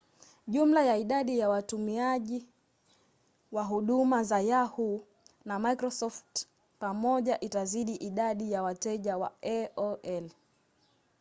jumla ya idadi ya watumiaji wa huduma za yahoo! na microsoft pamoja itazidi idadi ya wateja wa aol